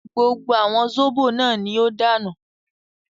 Gbogbo àwọn zóbò náà ní ó dànù